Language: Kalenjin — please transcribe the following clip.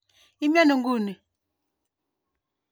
Imii ano?